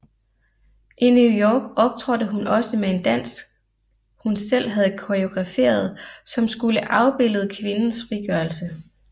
I New York optrådte hun også med en dansk hun selv havde koreograferet som skulle afbillede kvindes frigørelse